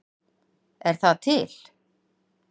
Er það til?